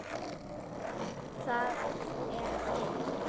Það er dimmt.